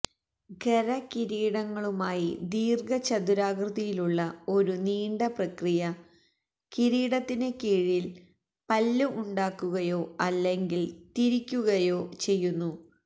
ഖര കിരീടങ്ങളുമായി ദീർഘചതുരാകൃതിയിലുള്ള ഒരു നീണ്ട പ്രക്രിയ കിരീടത്തിന് കീഴിൽ പല്ല് ഉണ്ടാക്കുകയോ അല്ലെങ്കിൽ തിരിക്കുകയോ ചെയ്യുന്നു